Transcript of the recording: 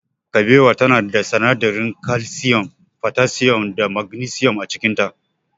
Kabewa tana da sinadaran kalsiyum, fotasiyum da magnisiyum a cikinta.